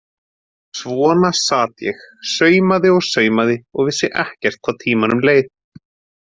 Svona sat ég, saumaði og saumaði og vissi ekkert hvað tímanum leið.